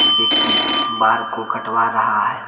व्यक्ति बार को कटवा रहा है।